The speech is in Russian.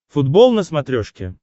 футбол на смотрешке